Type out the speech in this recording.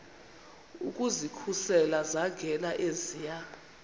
ukuzikhusela zangena eziya